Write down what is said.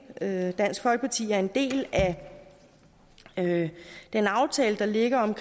at dansk folkeparti er en del af den aftale der ligger om